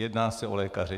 Jedná se o lékaře.